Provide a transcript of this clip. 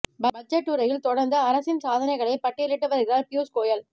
budget உரையில் தொடர்ந்து அரசின் சாதனைகளை பட்டியலிட்டு வருகிறார் பியூஷ் கோயல்